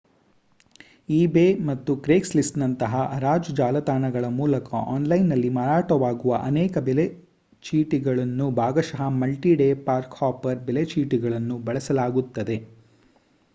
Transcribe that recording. eBay ಅಥವಾ ಕ್ರೇಗ್ಸ್‌ಲಿಸ್ಟ್‌ನಂತಹ ಹರಾಜು ಜಾಲತಾಣಗಳ ಮೂಲಕ ಆನ್‌ಲೈನ್‌ನಲ್ಲಿ ಮಾರಾಟವಾಗುವ ಅನೇಕ ಬೆಲೆ ಚೀಟಿಗಳನ್ನು ಭಾಗಶಃ ಮಲ್ಟಿ ಡೇ ಪಾರ್ಕ್-ಹಾಪರ್ ಬೆಲೆ ಚೀಟಿಗಳನ್ನು ಬಳಸಲಾಗುತ್ತದೆ